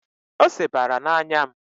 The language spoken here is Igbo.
Ose banyere n'anya m